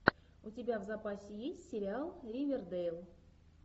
у тебя в запасе есть сериал ривердейл